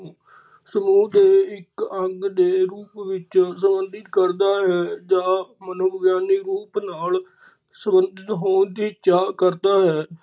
ਸਮੂਹ ਦੇ ਇੱਕ ਅੰਗ ਦੇ ਰੂਪ ਵਿੱਚ ਸੰਬੰਧਿਤ ਕਰਦਾ ਹੈ ਜਾਂ ਮਨੋਵਿਗਿਆਨੀ ਰੂਪ ਨਾਲ ਸੰਬੰਧਿਤ ਹੋਂਣ ਦੀ ਚਾਅ ਕਰਦਾ ਹੈ।